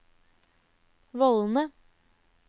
vollene